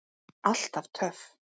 Alltaf töff.